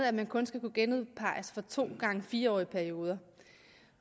at man kun skal kunne genudpeges for to gange fire årige perioder